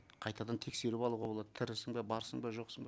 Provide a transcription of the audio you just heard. қайтадан тексеріп алуға болады тірісің бе барсың ба жоқсың ба